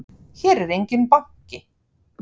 Hér er enginn banki!